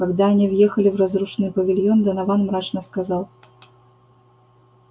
когда они въехали в разрушенный павильон донован мрачно сказал